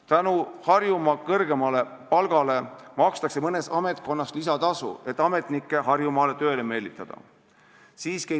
Tänu Harjumaa kõrgemale palgale makstakse mõnes ametkonnas lisatasu, et ametnikke Harjumaale tööle meelitada.